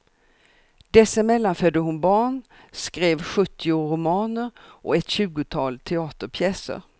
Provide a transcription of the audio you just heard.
Dessemellan födde hon barn, skrev sjuttio romaner och ett tjugotal teaterpjäser.